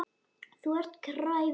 Þú ert kræfur, þykir mér.